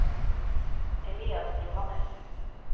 Elias Johannesen